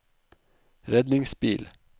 redningsbil